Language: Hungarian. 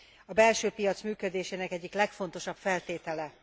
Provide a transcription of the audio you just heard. A belsőpiac működésének egyik legfontosabb feltétele.